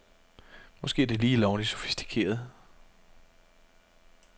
Måske er det lige lovligt sofistikeret.